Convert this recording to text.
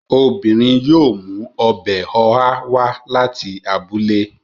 Obìnrin yóò mú ọbẹ̀ ọ̀há wá láti abúlé